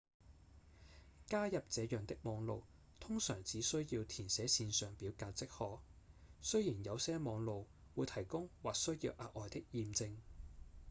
加入這樣的網路通常只需要填寫線上表格即可；雖然有些網路會提供或需要額外的驗證